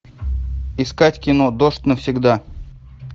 искать кино дождь навсегда